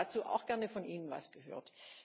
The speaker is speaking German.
Ich hätte dazu auch gerne von Ihnen etwas gehört.